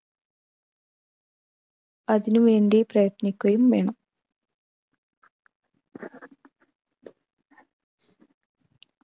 അതിനു വേണ്ടി പ്രയത്നിക്കുകയും വേണം